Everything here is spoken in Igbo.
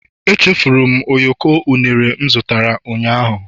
Echefuru m ụyọkọ unere m zụtara ụnyaahụ